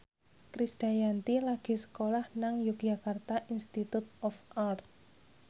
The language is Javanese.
Krisdayanti lagi sekolah nang Yogyakarta Institute of Art